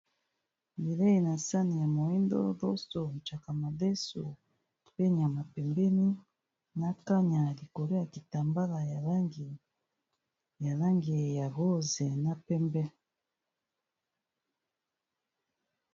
Bileyi na sani ya moyindo loso, tshaka madesu, pe nyama pembeni, na kanya likolo ya kitambala ya langi ya rose na pembe.